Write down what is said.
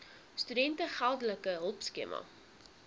studente geldelike hulpskema